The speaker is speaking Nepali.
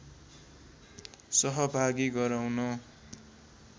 सहभागी गराउन